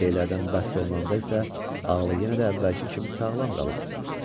ayrı şeylərdən bəhs olunanda isə ağlı yenə də əvvəlki kimi sağlam qalıb.